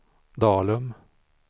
Dalum